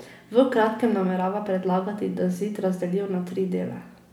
V kratkem namerava predlagati, da zid razdelijo na tri dele.